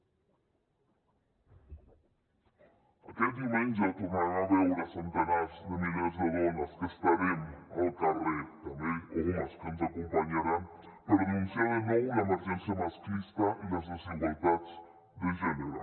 aquest diumenge tornarem a veure centenars de milers de dones que estarem al carrer també homes que ens acompanyaran per denunciar de nou l’emergència masclista i les desigualtats de gènere